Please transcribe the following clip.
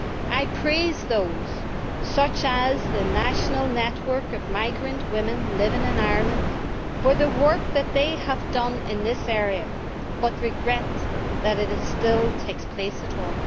I praise those, such as the National Network of Migrant Women Living in Ireland, for the work that they have done in this area, but I regret that the practice still takes place at all.